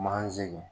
Manzini